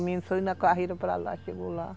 O menino saiu na carreira para lá, chegou lá.